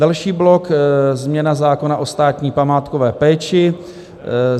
Další blok - změna zákona o státní památkové péči.